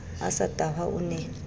a sa tahwa o ne